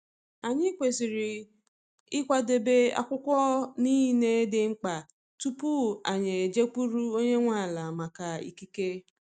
Anyị kwesịrị ịkwadebe akwụkwọ niile dị mkpa tupu anyị eje kwuru onye nwe ala maka ikike.